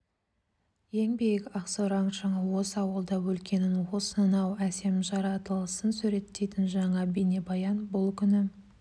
ең биік ақсораң шыңы осы ауылда өлкенің осынау әсем жаратылысын суреттейтін жаңа бейнебаян бұл күні